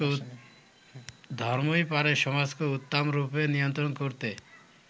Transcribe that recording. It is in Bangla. ধর্মই পারে সমাজকে উত্মম রূপে নিয়ন্ত্রণ করতে।